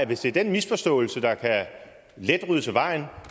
hvis det er den misforståelse der let kan ryddes af vejen